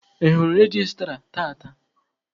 Ị hụrụ registra tata?